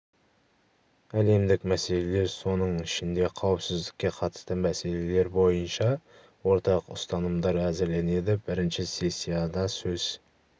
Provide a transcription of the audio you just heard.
әлемдік мәселелер соның ішінде қауіпсіздікке қатысты мәселелер бойынша ортақ ұстанымдар әзірленеді бірінші сессияда сөз